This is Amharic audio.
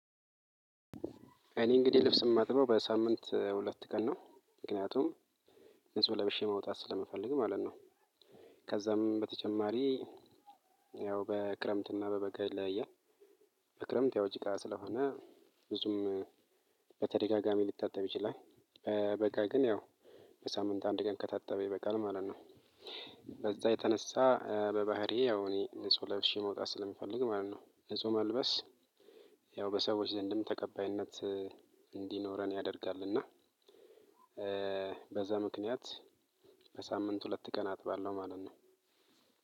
እኔ እንግዲህ ልብስ የማጥበው በሳምንት ሁለት ቀን ነው። ምክንያቱም ንጹህ ለበሼ መውጣት ስለምፈልግ ማለት ነው። ከዛም በተጨማሪ ያው በክረምትና በበጋ ይለያያል። በክረምት ያው ጭቃ ስለሆነ ብዙም በተደጋጋሚ ልታጠብ ይችላል። በጋ ግን ያው በሳምንት አንድ ቀን ከታጠበ ይበቃል ማለት ነው። በዛ የተነሳ በባህሪየ ያው እኔ ንጹህ ለብሼ መውጣት ስለምፈልግ ማለት ነው ንጹህ መልበስ ያው በሰዎች ዘንድም ተቀባይነት እንድኖረን ያደርጋል እና በዛ ምክንያት በሳምንት ሁለት ቀን አጥባለሁ ማለት ነው።